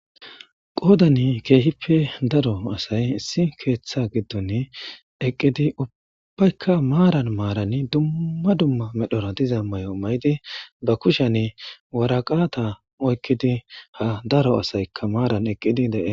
qoodani keehippe daro asay issi keeththa giddon eqqidi ubbaykka maaran maarani dumma dumma medhora diza may7o may7di ba kushan waraqata oykkidi ha daro asaykka maaran eqqidi dee